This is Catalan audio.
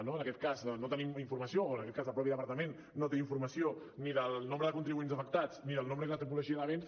no en aquest cas no tenim informació o el mateix departament no té informació ni del nombre de contribuents afectats ni del nombre i la tipologia de béns